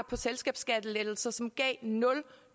på selskabsskattelettelser som gav nul